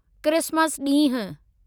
Christmas ॾींहुं